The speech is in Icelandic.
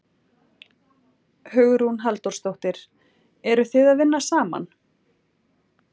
Hugrún Halldórsdóttir: Eru þið að vinna saman?